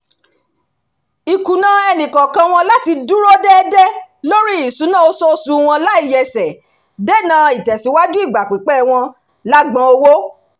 ìkùnà ẹnìkọ̀ọ̀kan láti dúró déédé lóri ìṣúná oṣoosù wọn láìyẹsẹ̀ dènà ìtẹ̀síwájú ìgbà pípẹ̀ wọn lágbọn owó